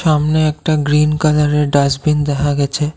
সামনে একটা গ্রিন কালারের ডাস্টবিন দেহা গেছে।